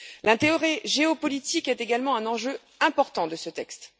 L'intérêt géopolitique est également un enjeu important de ce texte.